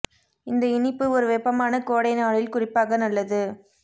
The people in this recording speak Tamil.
இந்த இனிப்பு ஒரு வெப்பமான கோடை நாளில் குறிப்பாக நல்லது